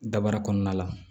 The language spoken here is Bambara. Dabara kɔnɔna la